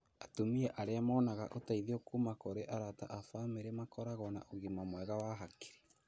Atumia arĩa monaga ũteithio kuma kũrĩ arata na bamĩrĩ makoragwo na ũgima mwega wa hakiri.